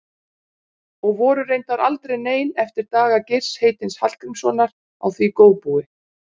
Og voru reyndar aldrei nein eftir daga Geirs heitins Hallgrímssonar á því góðbúi.